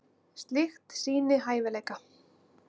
Slíkt sýni hæfileika.